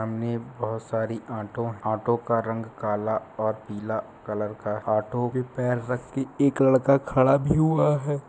सामने बहोत सारी ऑटो ऑटो का रंग काला और पीला कलर का ऑटो पे पैर रख के एक लड़का खड़ा भी हुआ है